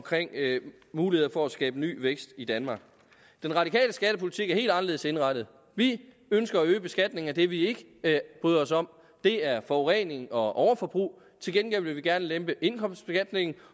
muligheder for at skabe ny vækst i danmark den radikale skattepolitik er helt anderledes indrettet vi ønsker at øge beskatningen af det vi ikke bryder os om det er forurening og overforbrug til gengæld vil vi gerne lempe indkomstbeskatningen